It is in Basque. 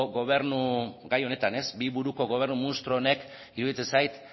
gobernu gai honetan bi buruko gobernu munstro honek iruditzen zait